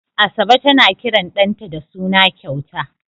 Asabe tana kiran ɗanta da suna kyauta.